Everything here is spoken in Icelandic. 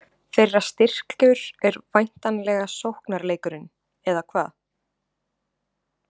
Þeirra styrkur er væntanlega sóknarleikurinn, eða hvað?